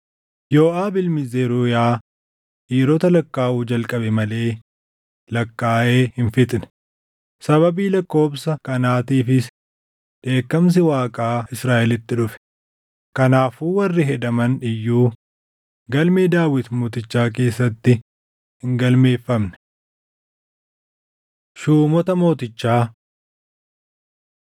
Yooʼaab ilmi Zeruuyaa dhiirota lakkaaʼuu jalqabe malee lakkaaʼee hin fixne; sababii lakkoobsa kanaatiifis dheekkamsi Waaqaa Israaʼelitti dhufe; kanaafuu warri hedaman iyyuu galmee Daawit mootichaa keessatti hin galmeeffamne. Shuumota Mootichaa